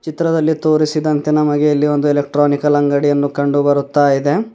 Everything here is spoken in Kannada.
ಚಿತ್ರದಲ್ಲಿ ತೋರಿಸಿದಂತೆ ನಮಗೆ ಇಲ್ಲಿ ಒಂದು ಎಲೆಕ್ಟ್ರಾನಿಕಲ್ ಅಂಗಡಿ ಅನ್ನು ಕಂಡು ಬರ್ತಾ ಇದೆ.